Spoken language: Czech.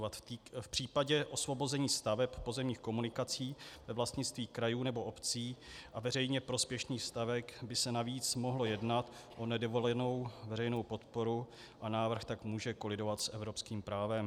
V případě osvobození staveb pozemních komunikací ve vlastnictví krajů nebo obcí a veřejně prospěšných staveb by se navíc mohlo jednat o nedovolenou veřejnou podporu, a návrh tak může kolidovat s evropským právem.